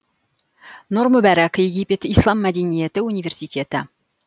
нұр мүбарак египет ислам мәдениеті университеті